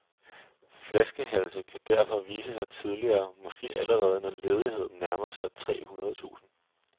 Flaskehalse kan derfor vise sig tidligere, måske allerede når ledigheden nærmer sig tre hundrede tusind.